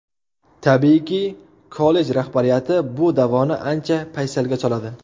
Tabiiyki, kollej rahbariyati bu da’voni ancha paysalga soladi.